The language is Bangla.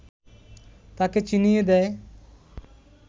তাকে চিনিয়ে দেয়